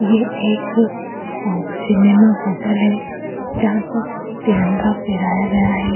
ये एक cinema hotel है जहां पर तिरंगा फहराया गया है।